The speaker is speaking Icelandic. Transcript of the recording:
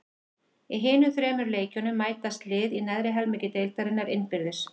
Í hinum þremur leikjunum mætast lið í neðri helmingi deildarinnar innbyrðis.